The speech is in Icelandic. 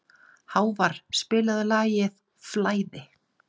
Hávarr, spilaðu lagið „Flæði“.